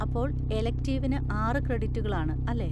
അപ്പോൾ എലെക്റ്റിവിന് ആറ് ക്രെഡിറ്റുകൾ ആണ്, അല്ലേ?